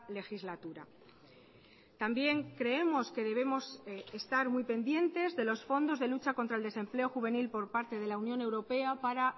legislatura también creemos que debemos estar muy pendientes de los fondos de lucha contra el desempleo juvenil por parte de la unión europea para